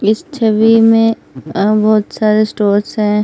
इस छबी में बहुत सारे स्टोर्स हैं।